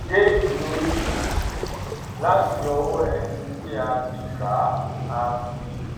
déètì orí rìsíìtì láti ọwọ ẹni tí a ti gbà á fi